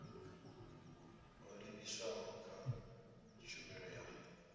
ho livhiswaho kha tshumelo ya